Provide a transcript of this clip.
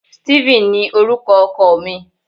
Steven ni orúkọ oko mi